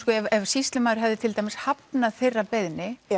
ef sýslumaður hefði til dæmis hafnað þeirra beiðni